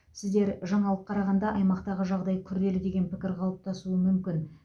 сіздер жаңалық қарағанда аймақтағы жағдай күрделі деген пікір қалыптасуы мүмкін